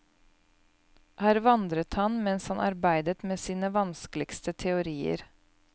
Her vandret han mens han arbeidet med sine vanskeligste teorier.